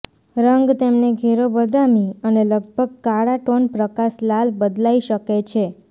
રંગ તેમને ઘેરો બદામી અને લગભગ કાળા ટોન પ્રકાશ લાલ બદલાઇ શકે છે